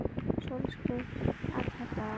Sólskin alla daga.